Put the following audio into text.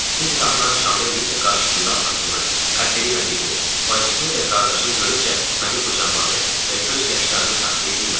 Biz qapıdan çıxanda Liza qarşısında atasını, Katerina bibisini, bacısını və qardaşını görüncə məni qucaqladı və göz yaşlarını saxlaya bilmədi.